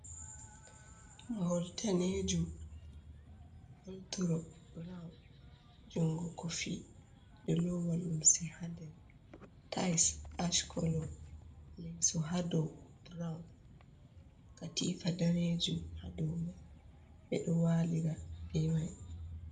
Mahol daneejum, woldro brawn, jungo kofi. Ɓe ɗo lowa lumse ha nder, tais ash kolo, leeso ha dou brawn. Katifa daneejum ha dou mai, ɓe ɗo waalira be mai.